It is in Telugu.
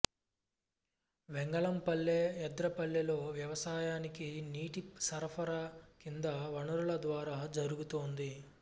వెంగళం పల్లె ఎంద్రపల్లెలో వ్యవసాయానికి నీటి సరఫరా కింది వనరుల ద్వారా జరుగుతోంది